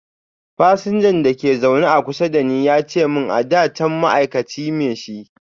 fasinjan da ke a zaune kusa da ni ya ce mun ada can ma'aikaci me shi.